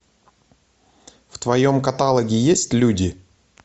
в твоем каталоге есть люди